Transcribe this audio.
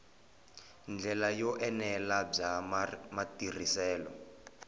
ndlela yo enela bya matirhiselo